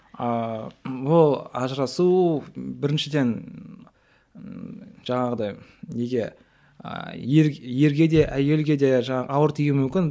ааа ол ажырасу біріншіден жаңағыдай неге ыыы ер ерге де әйелге де ауыр тиуі мүмкін